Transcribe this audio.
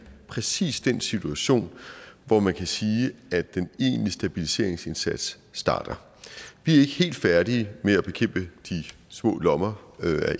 præcis den situation hvor man kan sige at den egentlige stabiliseringsindsats starter vi er ikke helt færdige med at bekæmpe de små lommer